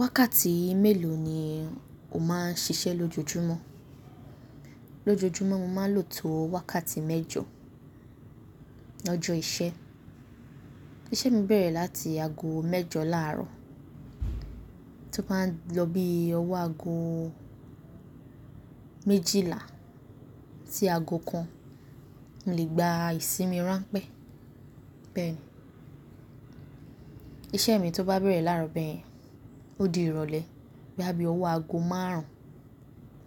Wákàtí mélòó ni o máa ń ṣiṣẹ́ lójoojúmọ́? Lójojúmọ́ mo máa ń lò tó wákàtí mẹ́jọ lọ́jọ́ ìṣe. Iṣẹ́ mi bẹ̀rẹ̀ láti ago mẹ́jọ láàárọ̀ tó bá ń lọ bí ọwọ́ ago méjìlá sí ago kan, mo lè gba ìsinmi ránpẹ́ bẹ́ẹ̀. Iṣẹ́ mi tó bá bẹ̀rẹ̀ láàárọ̀ bẹ́ẹ̀ yẹn ó di ìrọ̀lẹ́ boya bí ọwọ́ ago márùn-ún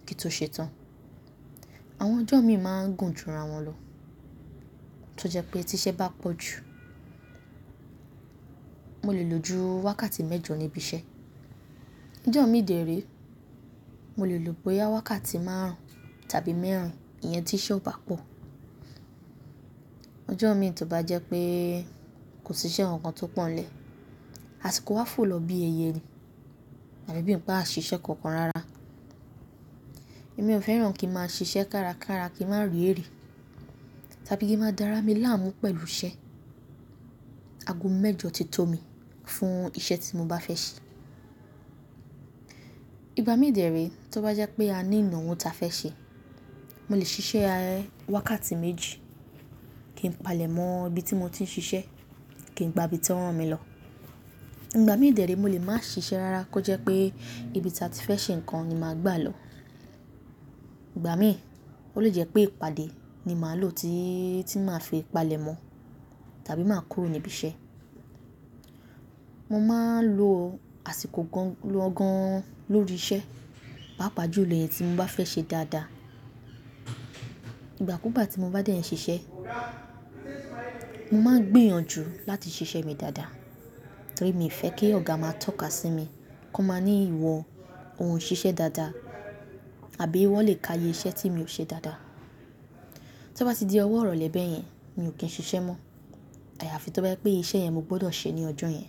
kí n tó ṣe tán. Àwọn ọjọ́ mi máa ń gùn jura wọn lọ. Tó jẹ́ pé tí iṣẹ́ bá pọ̀ jù, mo lè lo ju wákàtí mẹ́jọ níbi iṣẹ́. Ọjọ́ mi dèré, mo lè lò bóyá wákàtí márùn-ún tàbí mẹ́rìn-ín, iyen tí iṣẹ́ ò bá pọ̀. Ọjọ́ mi tó bá jẹ́ pé kò sí iṣẹ́ kankan tó pọ̀nlẹ́, àsìkò wa fò lọ bí ẹyẹ nì, afi bi pe à ṣiṣẹ́ kankan rárá. Èmi ò fẹ́ràn kí a máa ń ṣiṣẹ́ kárakára kí a máa ére tàbí kí a máa darami láàmú pẹ̀lú iṣẹ́. Ago mẹ́jọ ti tó mi fún iṣẹ́ tí mo bá fẹ́ ṣe. Ìgbà mí dèré tó bá jẹ́ pé a ní ìnàwó ta fẹ́ ṣe, mo lè ṣiṣẹ́ wákàtí méjì kí n palẹ̀ mọ́ ibi tí mo ti ń ṣiṣẹ́ kí n gba ibi tí wọ́n rán mi lọ. Ìgbà mí dèré mo lè máa ṣiṣẹ́ rárá kó jẹ́ pé ibi tí a ti fẹ́ ṣe nǹkan ni màá gbà lọ. Ìgbà mí ó lè jẹ́ pé ìpàdé ni màá lò tí, tí màá fi palẹ̀ mọ́ tàbí máa kúrò níbi iṣẹ́. Mo máa ń lo àsìkò gan lọgan an lórí iṣẹ́, pàápàá jù lo ìyen tí mo bá fẹ́ ṣe dáadáa. Ìgbà kúù gbá tí mo bá dẹ̀ n ṣiṣẹ́, mo máa ń gbìyànjú láti ṣiṣẹ́ mi dáadáa torí mi ò fẹ́ kí ọ̀gá máa tọ́ka sí mi kan máa ní ìwọ ò ṣiṣẹ́ dáadáa àbí wọ́n lè ka iye iṣẹ́ tí mi ò ṣe dáadáa. Tó bá ti di ọwọ́ irọ̀le bẹ̀ yẹn, mi ò kí ń ṣiṣẹ́ mọ́. Àyàfi tó bá jẹ́ pé iṣẹ́ yẹn mo gbọdọ̀ ṣe ní ọjọ́ yẹn.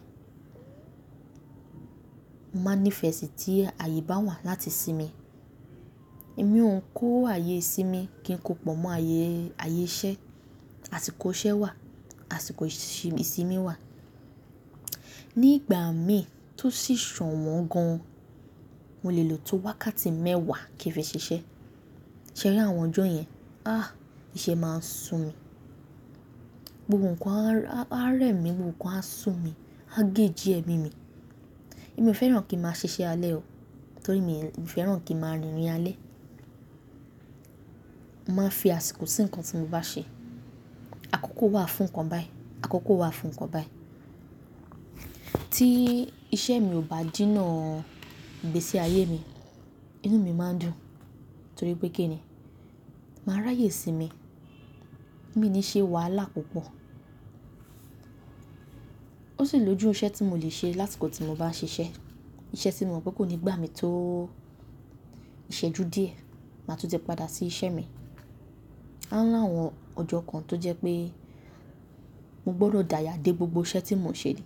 Mo máa ń ní ìfẹ́ sí tí àyè bá wà láti sinmi. Èmi ò ń kó àyè sí mi kí n kó pọ̀ mọ́ ayé, ayé iṣẹ́. Àsìkò iṣẹ́ wà, àsìkò ìsinmi wà. Ni ìgbà mi tó sì ṣọ̀wọ́n gan, mo lè lò tó wákàtí mẹ́wàá kí n fi ṣiṣẹ́. Ṣẹ̀ri àwọn ọjọ́ yẹn, ah! Iṣẹ́ máa ń sun mi. Gbogbo nǹkan á rẹ́ mi, gbogbo nǹkan á sun mi, á gé jí ẹmí mi. Èmi ò fẹ́ràn kí n máa ṣiṣẹ́ alẹ́ o torí mi ò fẹ́ràn kí n máa rìnrìn alẹ́. Mo máa ń fi àsìkò sí nǹkan tí mo bá ṣe. Àkókò wà fún nǹkan báyi, àkókò wà fún nǹkan báyi. Tí iṣẹ́ mi ò bá jínà gbé sí ayé mi, inú mi máa ń dùn torí pé kí ni? Màá ráyè sí mi. Mi ni ṣe wàhálà púpọ̀. Ó sì lójú iṣẹ́ tí mo lè ṣe lási kò tí mo bá ń ṣiṣẹ́. Iṣẹ́ tí mo mọ̀ pé kò ní gbà mí tó ìṣẹ́jú díẹ̀, màá tún tẹ̀ padà sí iṣẹ́ mi. A ńlá àwọn ọjọ́ kan tó jẹ́ pé mo gbọdọ̀ dáya dé gbogbo iṣẹ́ tí mo ń ṣe ní.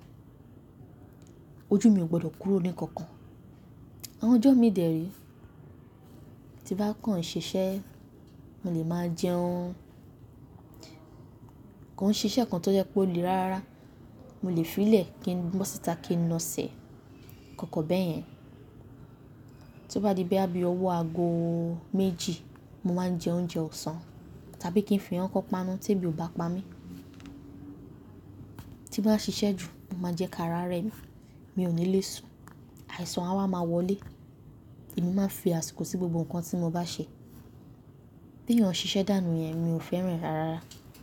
Ojú mi ò gbọdọ̀ kúrò ní kankan. Àwọn ọjọ́ mi dère tí n bá kàn ṣiṣẹ́, mo lè máa jẹun. Kon ṣiṣẹ́ kan tó jẹ́ pé ó le rárá, mo lè fi í lẹ̀ kí n mọ́ síta kí n na sẹ̀, kankan bẹ́ẹ̀ yẹn. Tó bá di bí a bi ọwọ́ ago méjì, mo máa ń jẹ oúnjẹ ọ̀sán tàbí kí n fi ikan kan páanú tí èbi ò bá pa mí. Tín bá ṣiṣẹ́ jù, o n máa jẹ káàrá rẹ́ mi, mi ò ní lè sùn. Àìsàn á máa wọlé. Èmi máa ń fi àsìkò sí gbogbo nǹkan tí mo bá ṣe. Bí èèyàn ṣiṣẹ́ dànù yẹn mi ò fẹ́ràn rárá.